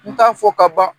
N t'a fɔ ka ban